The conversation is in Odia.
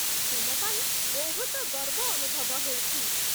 ତୁମ ପାଇଁ ବହୁତ ଗର୍ବ ଅନୁଭବ ହେଉଛି ।